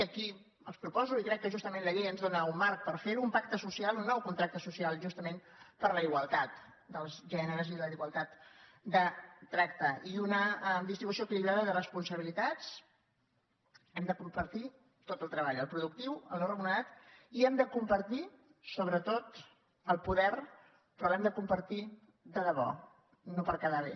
i aquí els proposo i crec que justament la llei ens dóna un marc per fer·ho un pacte social un nou contracte social per a la igualtat dels gèneres i la igualtat de tracte i una distri·bució equilibrada de responsabilitats hem de compar·tir tot el treball el productiu el no remunerat i hem de compartir sobretot el poder però l’hem de compar·tir de debò no per quedar bé